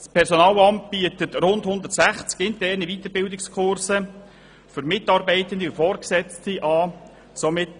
Das Personalamt bietet rund 160 interne Weiterbildungskurse für Mitarbeitende und Vorgesetzte an.